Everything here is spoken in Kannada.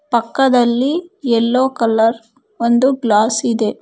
ಪಕ್ಕದಲ್ಲಿ ಯಲ್ಲೋ ಕಲರ್ ಒಂದು ಗ್ಲಾಸ್ ಇದೆ.